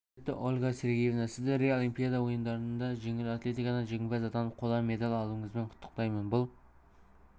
құрметті ольга сергеевна сізді рио олимпиада ойындарында жеңіл атлетикадан жеңімпаз атанып қола медаль алуыңызбен құттықтаймын бұл